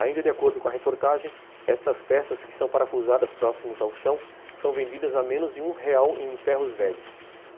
Ainda de acordo com a reportagem, estas peças, que são parafusadas próximas ao chão, são vendidas a menos de real em ferros velhos.